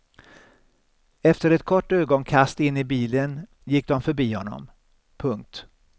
Efter ett kort ögonkast in i bilen gick de förbi honom. punkt